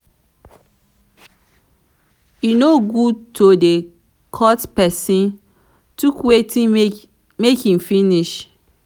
e no good to dey cut pesin tok wait make e finish.